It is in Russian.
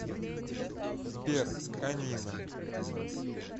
сбер конина